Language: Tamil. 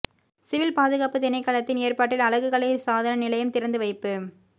சிவில் பாதுகாப்பு திணைக்களத்தின் ஏற்பாட்டில் அழகுக்கலை சாதன நிலையம் திறந்து வைப்பு